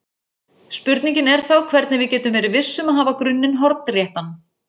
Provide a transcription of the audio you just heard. Spurningin er þá hvernig við getum verið viss um að hafa grunninn hornréttan.